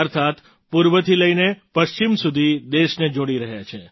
અર્થાત્ પૂર્વથી લઈને પશ્ચિમ સુધી દેશને જોડી રહ્યા છે